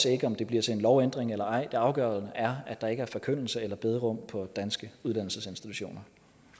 ikke om det bliver til en lovændring eller ej det afgørende er at der ikke er forkyndelse eller bederum på danske uddannelsesinstitutioner